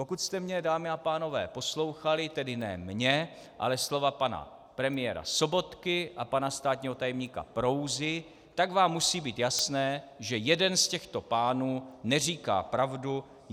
Pokud jste mě, dámy a pánové, poslouchali, tedy ne mě, ale slova pana premiéra Sobotky a pana státního tajemníka Prouzy, tak vám musí být jasné, že jeden z těchto pánů neříká pravdu.